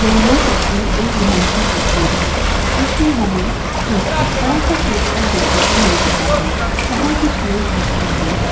के यह तस्वीर एक ग्राउंड की तस्वीर हैं जिसमे हमे एक बड़ा सा पोस्टर देखने को मिल रहा हैं वहा कुछ लोग भी खड़े हैं।